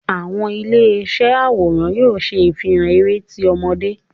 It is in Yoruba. Awọn ile iṣẹ aworan yóò ṣe ifihàn eré tí ọmọde